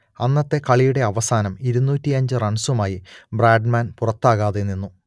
അന്നത്തെ കളിയുടെ അവസാനം ഇരുന്നൂറ്റിയഞ്ച് റൺസുമായി ബ്രാഡ്മാൻ പുറത്താകാതെ നിന്നു